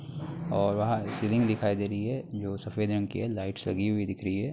और वहाँ सीलिंग दिखाई दे रही है जो सफेद रंग की है लाइट्स लगी हुई दिख रही है।